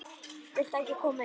Viltu ekki koma inn?